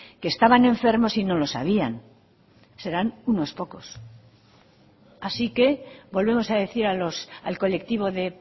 que estaban enfermos y no lo sabían serán unos pocos así que volvemos a decir al colectivo de